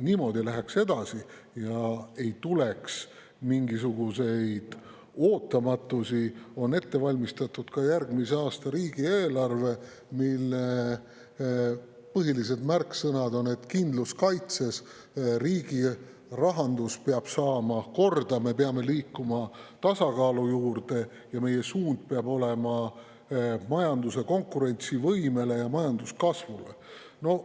niimoodi edasi läheks ja ei tuleks mingisuguseid ootamatusi, on ette valmistatud ka järgmise aasta riigieelarve, mille põhilised märksõnad on: kindlus kaitses, riigi rahandus peab saama korda, me peame liikuma tasakaalu juurde ning majanduse konkurentsivõime ja majanduskasvu suunas.